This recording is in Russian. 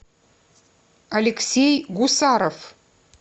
алексей гусаров